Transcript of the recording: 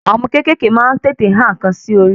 Àwọn ọmọ kékèké maá n tètè a nǹkan sí orí